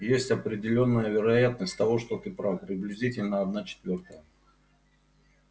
есть определённая вероятность того что ты прав приблизительно одна четвёртая